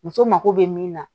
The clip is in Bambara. Muso mako be min na